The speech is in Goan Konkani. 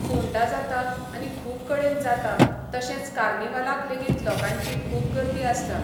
फोंडा जाता आनी खूब कडेन जाता तशेंच कार्निवलाक लेगीत लोकांची खूब गर्दी आसता